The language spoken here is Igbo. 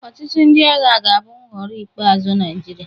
Ọchịchị ndị agha ga-abụ mhọrọ ikpe azụ Naịjịrịa.